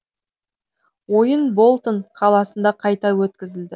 ойын болтон қаласында қайта өткізілді